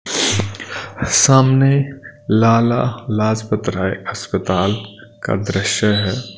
सामने लाला लाजपतराय अस्पताल का दृश्य है .